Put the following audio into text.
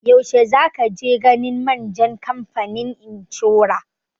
Yaushe za ka je ganin manjan kamfanin inshora?